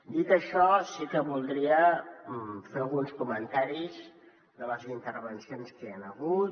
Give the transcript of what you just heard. dit això sí que voldria fer alguns comentaris de les intervencions que hi han hagut